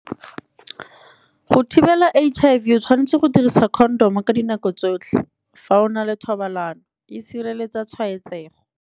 Go thibela H_I_V o tshwanetse go dirisa condom ka dinako tsotlhe, fa o na le thobalano e sireletsa tshwaetsego.